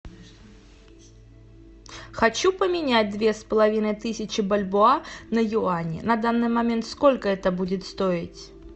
хочу поменять две с половиной тысячи бальбоа на юани на данный момент сколько это будет стоить